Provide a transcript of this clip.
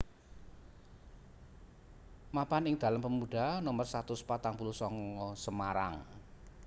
Mapan ing dalan Pemuda nomer satus patang puluh sanga Semarang